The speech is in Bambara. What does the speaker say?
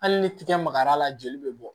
Hali ni tigɛ magar'a la joli bɛ bɔ